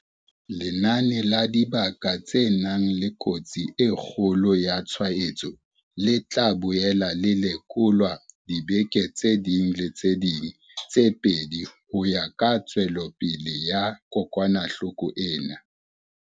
Lenane la dibaka tse nang le kotsi e kgolo ya tshwaetso le tla boela le lekolwa ka diveke tse ding le tse ding tse pedi ho ya ka tswelopele ya kokwanahloko ena.